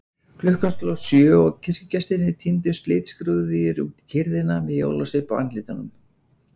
Klukkan sló sjö og kirkjugestirnir tíndust litskrúðugir út í kyrrðina með jólasvip á andlitunum.